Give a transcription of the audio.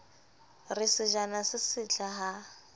re sejana se setle ha